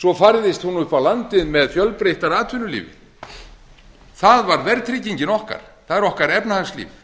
svo færðist hún upp á landið með fjölbreyttara atvinnulífi það var verðtryggingin okkar það er okkar efnahagslíf